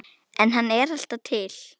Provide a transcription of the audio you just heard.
En hann er alltaf til.